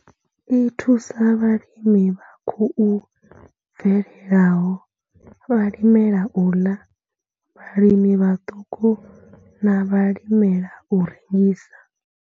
I thusa vhalimi vha khou bvelelaho, vhalimela u ḽa, vhalimi vhaṱuku na vhalimela u rengisa.